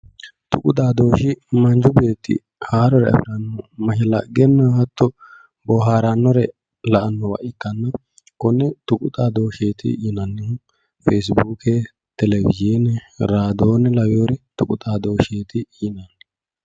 Tuqu xaadoshi manchu beetti haarore afara mashalaqqenna hatto booharanore la"anowa ikkanna konneno tuqu xaadosheti yinnanni feesibuuke, television ,radion lawinore tuqu xaadosheti yineemmo.